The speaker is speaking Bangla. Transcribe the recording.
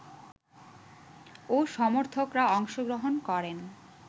ও সমর্থকরা অংশ গ্রহণ করেন